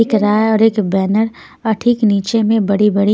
एक राय और एक बैनर और ठीक नीचे में बड़े-बड़े.